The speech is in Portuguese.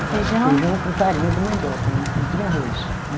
Feijão. Feijão com farinha de mandioca, não tinha arroz, né?